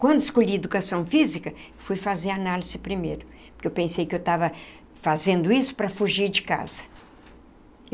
Quando escolhi educação física, fui fazer análise primeiro, porque eu pensei que eu estava fazendo isso para fugir de casa.